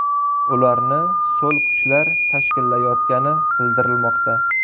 Ularni so‘l kuchlar tashkillayotgani bildirilmoqda.